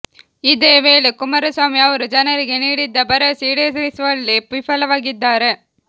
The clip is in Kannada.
ಇದೇ ವೇಳೆ ಕುಮಾರಸ್ವಾಮಿ ಅವರು ಜನರಿಗೆ ನೀಡಿದ್ದ ಭರವಸೆ ಈಡೇರಿಸುವಲ್ಲಿ ವಿಫಲವಾಗಿದ್ದಾರೆ